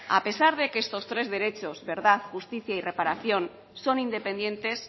a pesar de que estos tres derechos verdad justicia y reparación son independientes